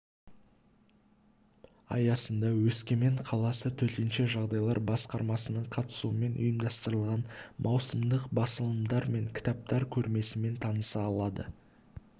аясында өскемен қаласы төтенше жағдайлар басқармасының қатысуымен ұйымдастырылған маусымдық басылымдар мен кітаптар көрмесімен таныса алады